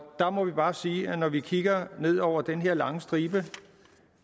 der må vi bare sige at når vi kigger ned over den her lange stribe